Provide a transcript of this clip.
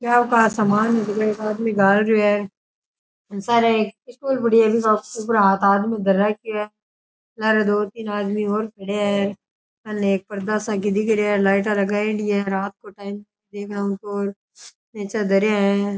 क्या का सामान एक आदमी घाल रियो है सारे स्कूल से सार दो तीन आदमी और खड़े है मैंने पर्दा सा दिख रेया है --